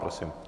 Prosím.